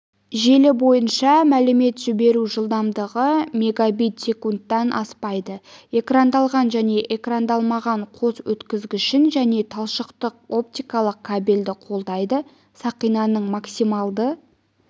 желі бойынша мәлімет жіберу жылдамдығы мегабит секундтан аспайды экрандалған және экрандалмаған қос өткізгішін және талшықтық оптикалық кабельді қолдайды сақинаның максималды